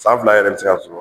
San fila yɛrɛ bɛ se ka